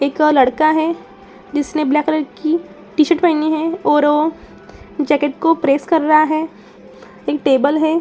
एक लड़का है जिसने ब्लैक कलर की टी शर्ट पहनी है और वो जैकेट को प्रेस कर रहा है। एक टेबल है।